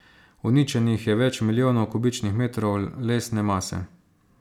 Uničenih je več milijonov kubičnih metrov lesne mase.